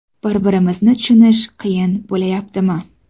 Bir-biringizni tushunish qiyin bo‘layaptimi?